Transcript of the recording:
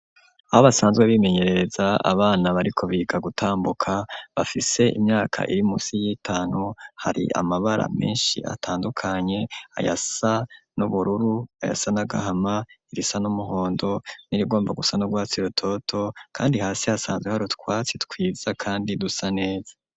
Aho basanzwe bimenyereza abana bariko biga gutambuka bafise imyaka irimusi y'itanu hari amabara meshi atandukanye ayasa n'ubururu ayasa n'agahama irisa n'umuhondo n'irigomba gusa n'urwatsi rutoto kandi hasi hasanzwe haru twatsi twiza kandi dusa neza.